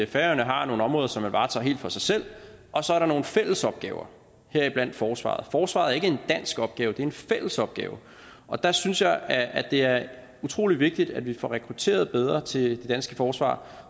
færøerne har nogle områder som man varetager helt for sig selv og så er der nogle fælles opgaver heriblandt forsvaret forsvaret er ikke en dansk opgave det er en fælles opgave og der synes jeg at det er utrolig vigtigt at vi får rekrutteret bedre til det danske forsvar